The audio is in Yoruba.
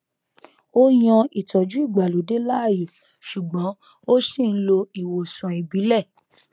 ó yan ìtọjú ìgbàlódé láàyò ṣùgbọn ó ṣì n lo ìwòsàn ìbílẹ